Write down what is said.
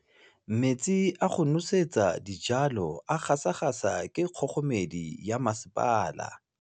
Metsi a go nosetsa dijalo a gasa gasa ke kgogomedi ya masepala.